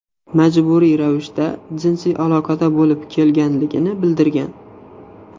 majburiy ravishda jinsiy aloqada bo‘lib kelganligini bildirgan.